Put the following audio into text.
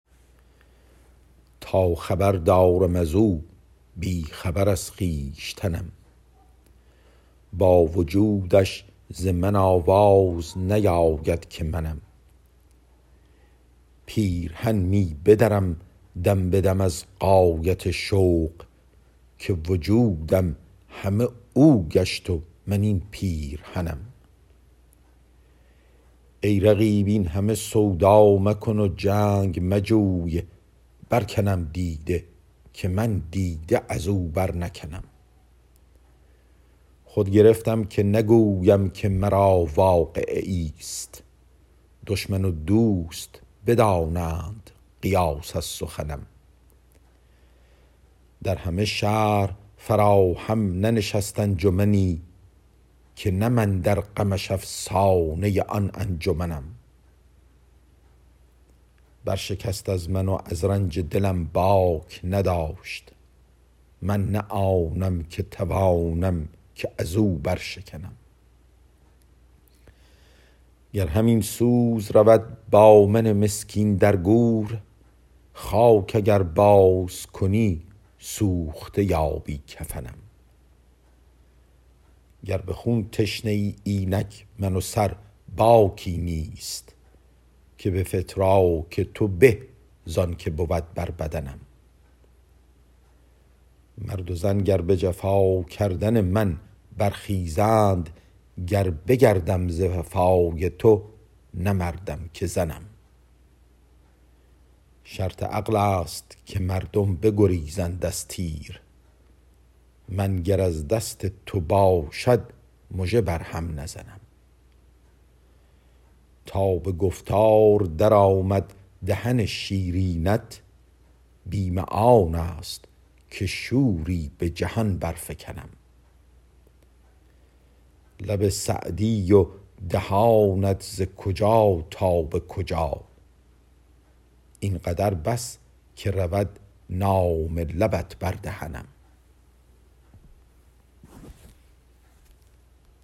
تا خبر دارم از او بی خبر از خویشتنم با وجودش ز من آواز نیاید که منم پیرهن می بدرم دم به دم از غایت شوق که وجودم همه او گشت و من این پیرهنم ای رقیب این همه سودا مکن و جنگ مجوی برکنم دیده که من دیده از او برنکنم خود گرفتم که نگویم که مرا واقعه ایست دشمن و دوست بدانند قیاس از سخنم در همه شهر فراهم ننشست انجمنی که نه من در غمش افسانه آن انجمنم برشکست از من و از رنج دلم باک نداشت من نه آنم که توانم که از او برشکنم گر همین سوز رود با من مسکین در گور خاک اگر بازکنی سوخته یابی کفنم گر به خون تشنه ای اینک من و سر باکی نیست که به فتراک تو به زان که بود بر بدنم مرد و زن گر به جفا کردن من برخیزند گر بگردم ز وفای تو نه مردم که زنم شرط عقل است که مردم بگریزند از تیر من گر از دست تو باشد مژه بر هم نزنم تا به گفتار درآمد دهن شیرینت بیم آن است که شوری به جهان درفکنم لب سعدی و دهانت ز کجا تا به کجا این قدر بس که رود نام لبت بر دهنم